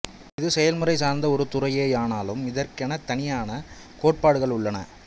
இது செயல்முறை சார்ந்த ஒரு துறையேயானாலும் இதற்கெனத் தனியான கோட்பாடுகளும் உள்ளன